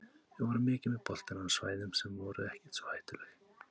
Við vorum mikið með boltann en á svæðum sem voru ekkert svo hættuleg.